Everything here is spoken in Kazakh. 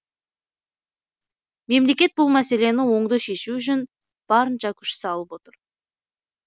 мемлекет бұл мәселені оңды шешу үшін барынша күш салып отыр